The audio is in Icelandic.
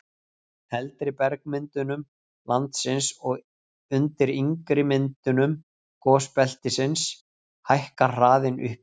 eldri bergmyndunum landsins og undir yngri myndunum gosbeltisins hækkar hraðinn upp í